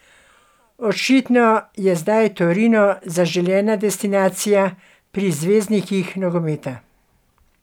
Očitno je zdaj Torino zaželena destinacija pri zvezdnikih nogometa.